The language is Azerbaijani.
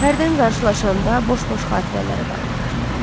Hərdən qarşılaşanda boş-boş xatirələrə dalırlar.